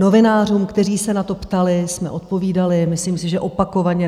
Novinářům, kteří se na to ptali, jsme odpovídali, myslím si, že opakovaně.